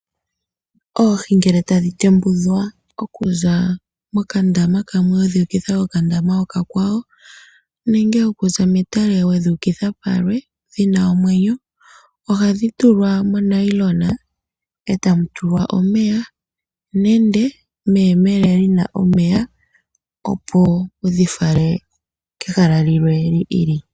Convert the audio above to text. Oohi ngele tadhi tembudhwa okuza mokandama kamwe, wedhi ukitha kokandama oka kwawo, nenge okuza metale wedhi ukidha kulwe, dhina omwenyo ohadhi tulwa mo nayilona, e tamu tulwa omeya, nenge meyemele lina omeya, opo wudhi fale kehala lilwe li ili.